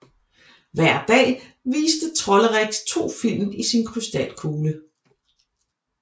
Hver dag viste Trolderik to film i sin krystalkugle